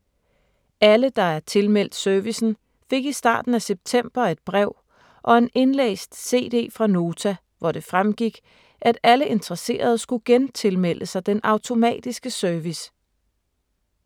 Alle, der er tilmeldt servicen, fik i starten af september et brev og en indlæst cd fra Nota, hvor det fremgik, at alle interesserede skulle gentilmelde sig den automatiske service.